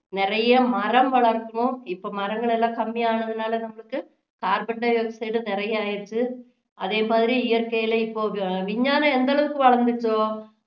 நிறைய மரம் வளர்க்கணும் இப்போ மரங்கள் எல்லாம் கம்மி ஆனதுனால நம்மளுக்கு carbon dioxide நிறைய ஆகிடுச்சு அதே மாதிரி இயற்கையில இப்போ விஞ்ஞானம் எந்த அளவுக்கு வளர்ந்துச்சோ